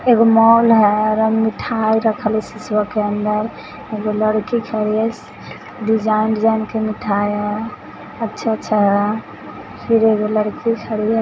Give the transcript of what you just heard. एगो मॉल है और मिठाई रखल है सिसवा के अन्दर। एगो लड़की खड़ी है। डिजाइन डिज़ाइन के मिठाई हई अच्छा अच्छा है। फिर एगो लड़की साडिया --